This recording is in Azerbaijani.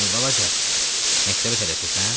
Ey balaca, məktəbə tələsirsən?